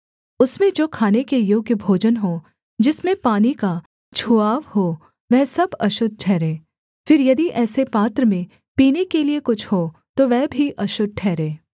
उसमें जो खाने के योग्य भोजन हो जिसमें पानी का छुआव हो वह सब अशुद्ध ठहरे फिर यदि ऐसे पात्र में पीने के लिये कुछ हो तो वह भी अशुद्ध ठहरे